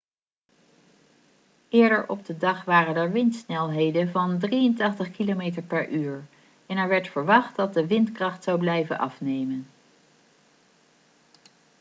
eerder op de dag waren er windsnelheden van 83 km/u en er werd verwacht dat de windkracht zou blijven afnemen